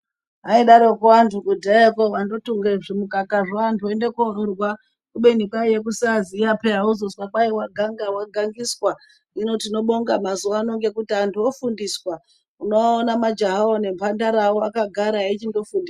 Aidaroko antu kudhayako kuti andotunge zvimukakazvo antu oende kororwa kubeni kwaiye kusaaziya peya wozozwa kwai vaganga vagangiswa hino tinobonga mazuvano ngekuti antu ofundiswa unoona majaha nemhantara akagara eichindofundiswa